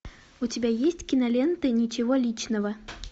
у тебя есть кинолента ничего личного